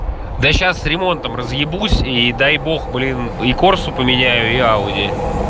да сейчас ремонтом разъебусь и дай бог блин и корсу поменяю и ауди